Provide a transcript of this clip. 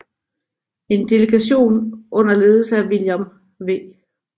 En delegation under ledelse af William W